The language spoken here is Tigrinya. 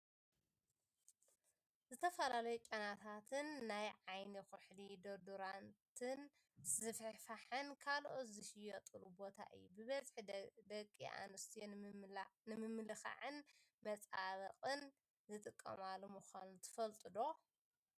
ዝተፈላለዩ ጨናታትን ናይ ዓይኒ ኩሕሊ፣ ዶድራንት ዝፍሕፍሓን ካልኦትን ዝሽየጠሉ ቦታ እዩ። ብበዝሒ ደቂ ኣንስትዮ ንመመላክዕን መፀባበቅን ዝጥቀማሉ ምኳኑ ትፈልጡ ዶ?